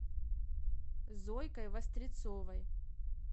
зойкой вострецовой